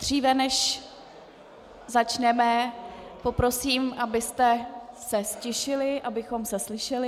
Dříve než začneme, poprosím, abyste se ztišili, abychom se slyšeli.